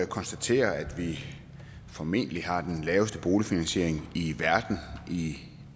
konstatere at vi formentlig har den laveste boligfinansiering i verden i